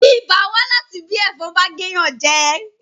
ibà wá láti bí ẹ̀fọn bá gé èèyàn jẹ